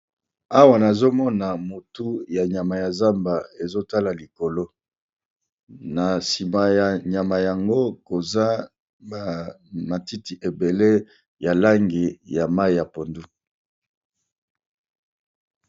awa nazomona motu ya nyama ya zamba ezotala likolo na nsima ya nyama yango koza matiti ebele ya langi ya mai ya pondu